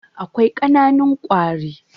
Akwai ƙananun kwari.